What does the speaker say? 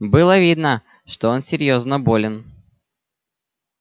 было видно что он серьёзно болен